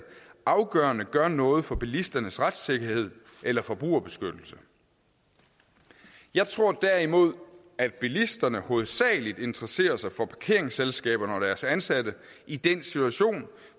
afgørende gør noget for bilisternes retssikkerhed eller forbrugerbeskyttelse jeg tror derimod at bilisterne hovedsagelig interesserer sig for parkeringsselskaber og deres ansatte i den situation